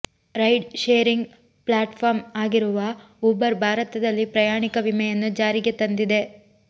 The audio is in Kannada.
ರೈಡ್ ಶೇರಿಂಗ್ ಪ್ಲಾಟ್ಫಾರ್ಮ್ ಆಗಿರುವ ಊಬರ್ ಭಾರತದಲ್ಲಿ ಪ್ರಯಾಣಿಕ ವಿಮೆಯನ್ನು ಜಾರಿಗೆ ತಂದಿದೆ